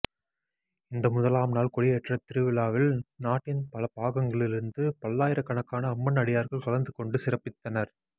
இந்த முதலாம்நாள் கொடியேற்றத்திருவிழாவில் நாட்டின் பலபாகங்களிலிருந்தும் பல்லாயிரக்கணக்கான அம்மன் அடியார்கள் கலந்துகொண்டு சிறப்பித்தனர்